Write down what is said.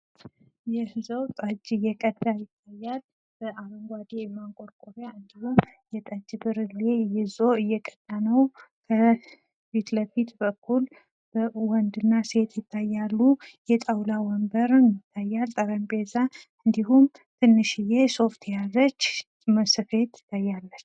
ባህላዊ መጠጦች እንደ ጠላ፣ አረቄና ሱዋ በተለያዩ የአገሪቱ ክፍሎች የሚዘጋጁ ልዩ ጣዕም ያላቸው ናቸው።